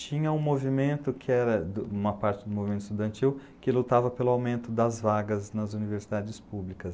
tinha um movimento que era uma parte do movimento estudantil que lutava pelo aumento das vagas nas universidades públicas.